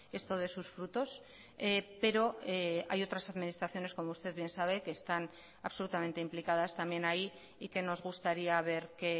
esto dé sus frutos pero hay otras administraciones como usted bien sabe que están absolutamente implicadas también ahí y que nos gustaría ver que